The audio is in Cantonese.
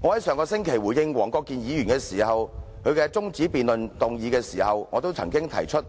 我在上星期回應黃國健議員動議的中止待續議案時曾指出，